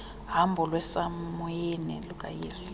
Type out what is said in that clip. hambo lwasemoyeni lukayesu